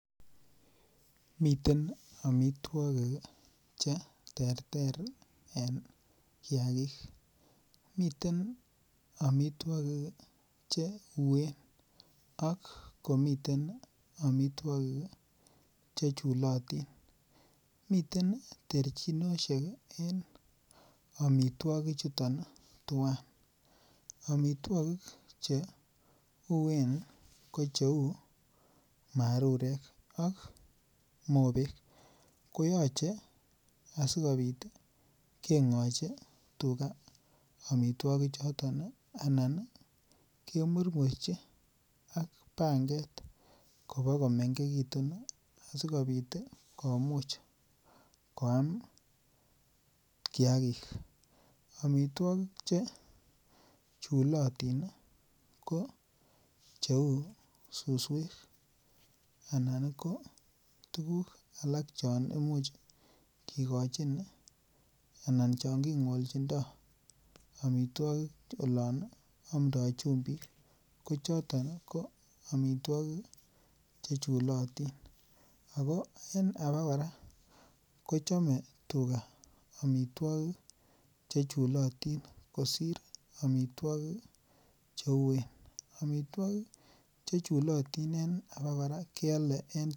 Miten amituakik cheterter en kiagik, miten amituagig ih cheuen Ako mi amituakik chechula tinmiten techinisiek en amituakik chuton tuan . Amituagig cheuen ko cheuu ak mobek koyache keng'achi tuga amituakik choton ih anan ih kemirmurchi ak banget kibikomegekitun ih asikobit komuch koam kiagik amituakik chechulatin ih ko kouu susuek anan tuguk alak chauu chon kikochin anan chon king'olchindo loan amda chumbik ko choton ih ko amituakik che chulatin Ako en abokora kochame tuga amituakik chechulatin kosir amituakik cheuuen amituakik chechulatin abokora kialen en tuget.